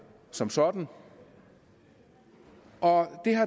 som sådan og